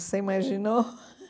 Você imaginou?